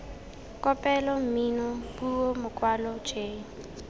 kopelo mmino puo mokwalo j